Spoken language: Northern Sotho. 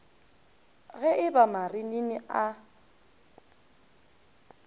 ge e ba marinini a